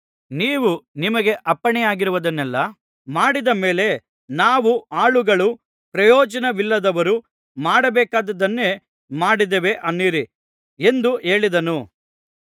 ನೀವು ನಿಮಗೆ ಅಪ್ಪಣೆಯಾಗಿರುವುದನ್ನೆಲ್ಲಾ ಮಾಡಿದ ಮೇಲೆ ನಾವು ಆಳುಗಳು ಪ್ರಯೋಜನವಿಲ್ಲದವರು ಮಾಡಬೇಕಾದದ್ದನ್ನೇ ಮಾಡಿದ್ದೇವೆ ಅನ್ನಿರಿ ಎಂದು ಹೇಳಿದನು